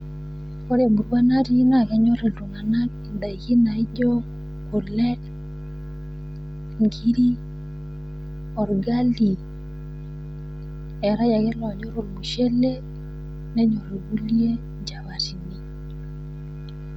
Ore emurua natii naa kenyor iltung'ana indaiki naijo; kule, inkiri, olgali, eetai ake ilonyor olmushele, nenyor ilkulie inchapatini.